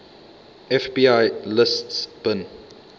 fbi lists bin